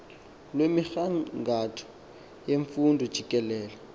lwemigangatho yemfundo jikelele